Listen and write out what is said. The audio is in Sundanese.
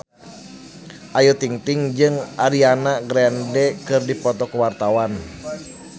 Ayu Ting-ting jeung Ariana Grande keur dipoto ku wartawan